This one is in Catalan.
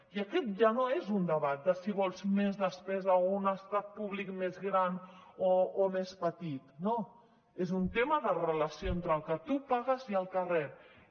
i aquest ja no és un debat de si vols més despesa o un estat públic més gran o més petit no és un tema de relació entre el que tu pagues i el que reps